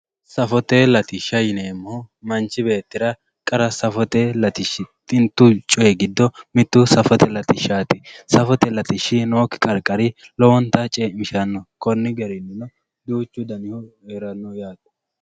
safote lattishsha yineemoo manchi beettira qara safote latishshi xintu coye giddo mittu safote lattishshati safote lattishshi nooki qarqari lowontta ceemishanno konni garinni duuchu danihu heeranno yaate.